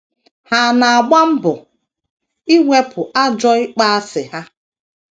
Ha na - agba mbọ iwepụ ajọ ịkpọasị ha.